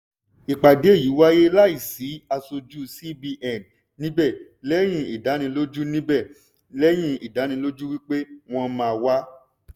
ìpàdé yìí wáyé láì sì asojú cbn níbẹ̀ lẹ́yìn ìdánilójú níbẹ̀ lẹ́yìn ìdánilójú wípé wọ́n máa wá.